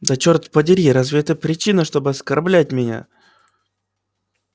да черт подери разве это причина чтобы оскорблять меня